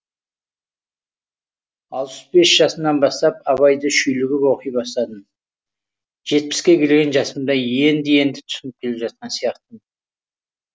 алпыс бес жасымнан бастап абайды шүйлігіп оқи бастадым жетпіске келген жасымда енді енді түсініп келе жатқан сияқтымын